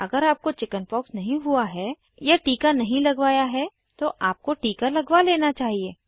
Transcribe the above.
अगर आपको चिकिन्पॉक्स नहीं हुई है या टीका नहीं लगवाया है तो आपको टीका लगवा लेना चाहिए